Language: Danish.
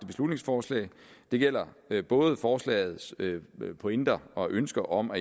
beslutningsforslag det gælder både forslagets pointer og ønsker om at